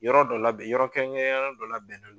Yɔrɔ dɔ labɛn, yɔrɔ kɛrɛnkɛrɛnnenyanen dɔ labɛnnen don.